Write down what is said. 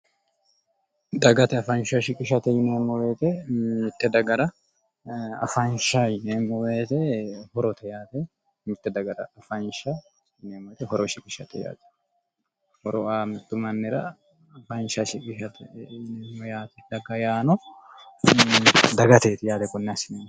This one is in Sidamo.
dagate afanshsha shiqishate yineemo woyiite mitte dagara afanshsha yineemo woyeete horote yaate mitte daga horo aa mottu mannira afanshsha shiqishate dagatet yaate konne assineemmohu